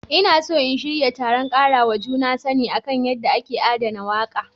Ina so in shirya taron karawa juna sani kan yadda ake adana wake.